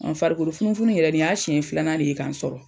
farikolo funufunu in yɛrɛ nin y'a siɲɛ filanan de ye ka n sɔrɔ.